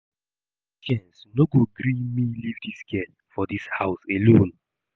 My conscience no go gree me leave dis girl for dis house alone